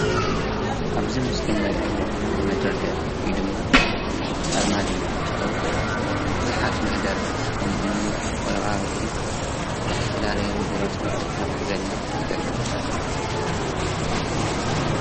አብዚ ምስሊ ንሪኦ ዘለና መደርደሪ ወይ ድማ አርማድዮ እንትኸውን ብዙሓት ማህደራት ከምኡ እውን ወረቃቅቲ አብ ዝተፈላለዩ ቢሮታት ንክሕዝልና ይጠቅም፡፡